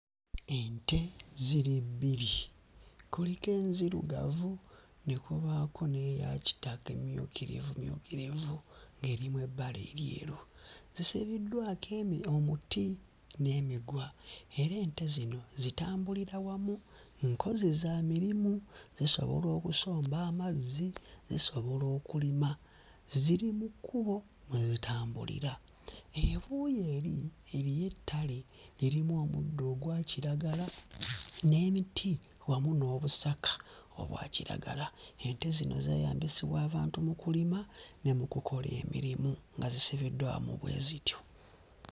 Ente ziri bbiri, kukiko enzirugavu ne kubaako n'eya kitaka emmyukirivumyukirivu erimu ebbala eryeru zisibiddwako emi omuti n'emiguwa era ente zino zitambulira wamu nkozi za mirimu, zisobola okusomba amazzi, zisobola okulima. Ziri mu kkubo mwe zitambulira ebuuyi eri eriyo ettale lirimu omuddo ogwa kiragala n'emiti wamu n'obusaka obwa kiragala. Ente zino zeeyambisibwa abantu mu kulima ne mu kukola emirimu nga zisibiddwamu bwe zityo.